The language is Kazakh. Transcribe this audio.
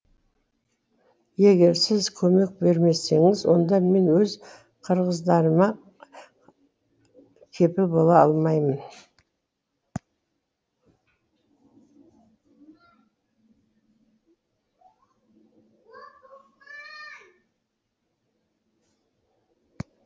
егер сіз көмек бермесеңіз онда мен өз қырғыздарыма кепіл бола алмаймын